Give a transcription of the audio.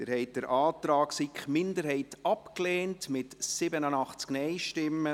Sie haben den Antrag der SiK-Minderheit abgelehnt, mit 87 Nein- gegen 62 Ja-Stimmen.